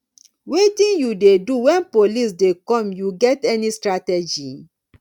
wetin you dey do when police dey come you get any strategy